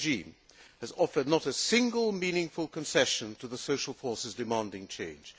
The Assad regime has not offered a single meaningful concession to the social forces demanding change.